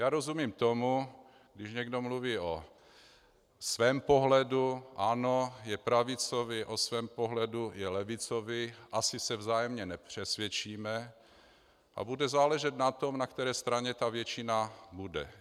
Já rozumím tomu, když někdo mluví o svém pohledu, ano, je pravicový, o svém pohledu, je levicový, asi se vzájemně nepřesvědčíme a bude záležet na tom, na které straně ta většina bude.